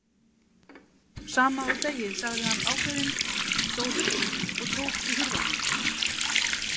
Sama og þegið, sagði hann ákveðinn, stóð upp og tók í hurðarhúninn.